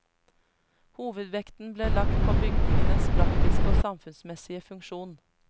Hovedvekten ble lagt på bygningenes praktiske og samfunnsmessige funksjon.